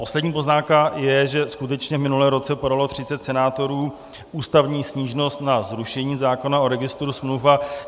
Poslední poznámka je, že skutečně v minulém roce podalo 30 senátorů ústavní stížnost na zrušení zákona o registru smluv.